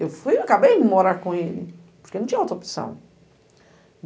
Eu fui, eu acabei de morar com ele, porque não tinha outra opção.